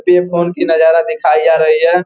पे फोन की नजारा दिखाई जा रही है।